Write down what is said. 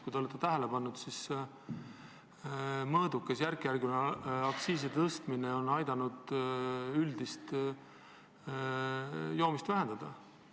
Kui te olete tähele pannud, siis mõõdukas, järkjärguline aktsiisi tõstmine on aidanud üldist joomist vähendada.